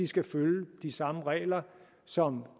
skal følge de samme regler som